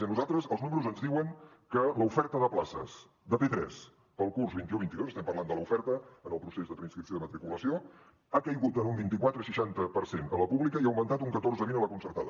i a nosaltres els números ens diuen que l’oferta de places de p3 per al curs vint un vint dos estem parlant de l’oferta en el procés de preinscripció de matriculació ha caigut en un vint quatre coma seixanta per cent a la pública i ha augmentat un catorze coma vint a la concertada